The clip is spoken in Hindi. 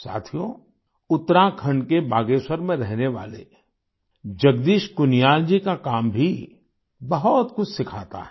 साथियो उत्तराखंड के बागेश्वर में रहने वाले जगदीश कुनियाल जी का काम भी बहुत कुछ सिखाता है